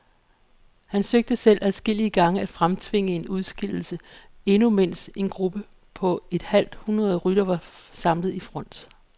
Han søgte selv adskillige gange at fremtvinge en udskillelse, endnu mens en gruppe på et halvt hundrede ryttere var samlet i front.